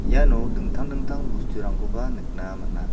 iano dingtang dingtang bosturangkoba nikna man·a.